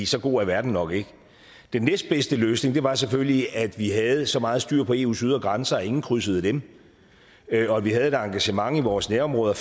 så god er verden nok ikke den næstbedste løsning var selvfølgelig at vi havde så meget styr på eus ydre grænser at ingen krydsede dem og at vi havde et fælleseuropæisk engagement i vores nærområder